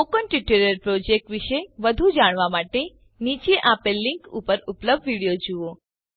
spoken tutorial project વિષે વધુ જાણવા માટે નીચે આપેલ લીનક ઉપર ઉપલબ્ધ વિડીઓ જુઓ